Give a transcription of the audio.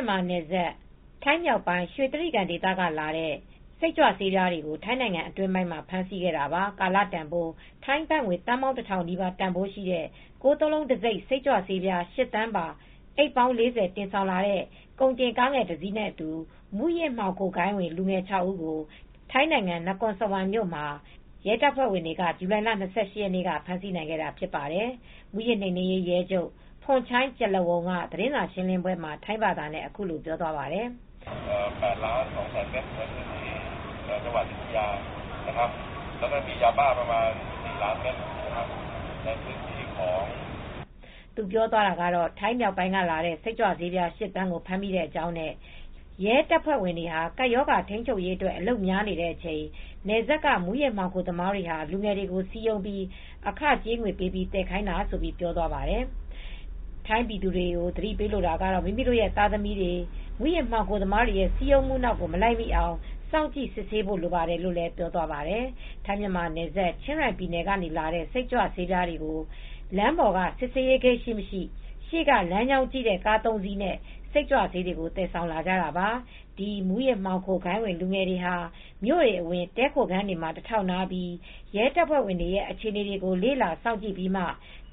ြန်မာနယ်စပ်ထိုင်းမြောက်ပိုင်းရွှေတြိဂံဒေသကလာတဲ့ စိတ်ကြွဆေးပြားတွေကိုထိုင်းနိုင်ငံအတွင်းပိုင်းမှာဖမ်းဆီးခဲ့တာပါ ။ ကာလတန်ဖိုး ထိုင်း ဘတ်ငွေ သန်းပေါင်း တစ်ထောင်နီးပါး တန်းဖိုးရှိတဲ့ ၉ ၉ ၉ တံဆိပ် စိတ်ကြွဆေးပြား ၈သန်းပါ အိပ်ပေါင်း၄၀ တင်ဆောင်လာတဲ့ ကုန်တင်ကားငယ်တစ်စီးနဲ့အတူ မူးယစ်ဂိုဏ်းဝင် လူငယ် ၆ဦးကို ထိုင်းနိုင်ငံ န ကွန်စဝမ်မြို့မှာ ရဲတပ်ဖွဲ့ဝင်တွေက ဇူလိုင်လ၂၈ ရက်နေက ဖမ်းဆီးနိုင်ခဲ့တာဖြစ်ပါတယ်။ မူးယစ်နိမ်နင်းရေး ရဲချုပ် ဖွန်ချိုင်း ကျလန်ဝုန်က သတင်းစာရှင်းလင်းပွဲမှာ ထိုင်းဘာသာနဲ့ အခုလိုပြောသွားပါတယ်။ သူ ပြောသွားတာကတော့ ထိုင်းမြောက်ပိုင်းကလာတဲ့ စိတ်ကြွဆေး ၈သန်းကိုဖမ်းမိတဲ့အကြောင်းနဲ့ ရဲတပ်ဖွဲ့တွေဟာ ကပ်ရောဂါထိမ်းချုပ်ရေးအတွက် အလုပ်များနေတဲ့အချိန် နယ်စပ်က မူးယစ်မှောင်ခိုသမားတွေဟာ လူငယ်တွေကို စည်းရုံးပြီး အခကြေးငွေပေး သယ်ခိုင်းတာလို့ပြောသွားပါတယ်။ ထိုင်းပြည်သူတွေကိုသတိပေးလိုတာကတော့ မိမိရဲ့သားသမီးတွေ မူးယစ်မှောင်ခိုသမားတွေရဲ့စည်းရုံမူနောက် မလိုက် မိအောင် စောင့်ကြည့်စစ်ဆေးကြဖို့ လိုပါတယ်လို့ ပြောသွားပါတယ် ထိုင်းမြန်မာနယ်စပ် ချင်းရိုင် ပြည်နယ် ကနေ လာတဲ့စိတ်ကြွဆေးပြားတွေကို လမ်းပေါ်က စစ်ဆေးရေးဂိတ်တွေရှိမရှိ ရှေက လမ်းကြောင်းကြည့်တဲ့ ကားသုံးစီးနဲ့စိတ်ကြွဆေးတွေကိုသယ်ဆောင်လာကြတာပါ ။ ဒီမူးယစ်မှောင်ခိုဂိုဏ်းဝင် လူငယ်တွေဟာ မြို့တွေအဝင် တည်းခိုခန်းတွေမှာ တထောက်နားပြီး ရဲတပ်ဖွဲ့ဝင်တွေရဲ့ အခြေအနေကို လေ့လာစော င့်ကြည့်ပြီးမှ